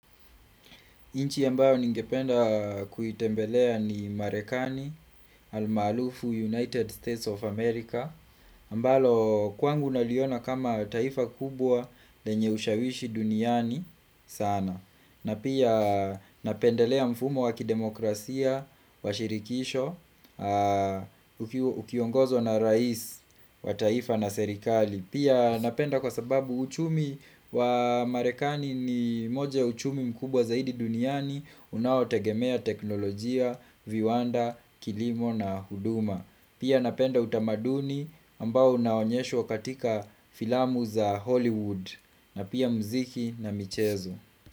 Nchi ambayo ningependa kuitembelea ni Marekani, almaalufu United States of America ambalo kwangu naliona kama taifa kubwa lenye ushawishi duniani sana na pia napendelea mfumo wa kidemokrasia, washirikisho, ukiongozwa na rais wa taifa na serikali Pia napenda kwa sababu uchumi wa marekani ni moja ya uchumi mkubwa zaidi duniani Unaotegemea teknolojia, viwanda, kilimo na huduma Pia napenda utamaduni ambao unaonyeshwa katika filamu za Hollywood na pia mziki na michezo.